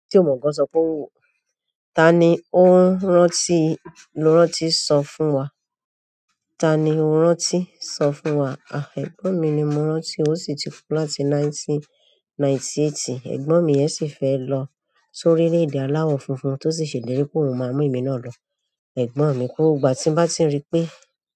Tí ọ̀mọ̀ kan sọ fún wò, ta ni ó ń rántí ló rántí sọ fún wa. Ta ni o rántí? Sọ fún wa. À, ẹ̀gbọ́n mi ni mo rántí ó sì ti kú láti ninety ninety-eight. Ẹ̀gbọ́n mi yẹn sì fẹ́ lọ sórí le èdè alawọ funfun tó sì ṣèlérí pé òun máa mú èmi náà lọ. Ẹ̀gbọ́n mi kú ní ìgbà tí n bá ti rí pé,